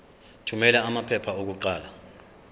thumela amaphepha okuqala